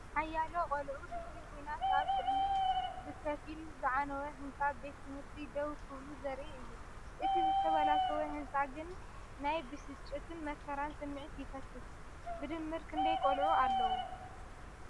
ሓያሎ ቆልዑ ድሕሪ ኲናት ኣብ ቅድሚ ብኸፊል ዝዓነወ ህንጻ ቤት ትምህርቲ ደው ክብሉ ዘርኢ እዩ። እቲ ዝተበላሸወ ህንጻ ግን ናይ ብስጭትን መከራን ስምዒት ይፈስስ። ብድምር ክንደይ ቆልዑ ኣለዉ?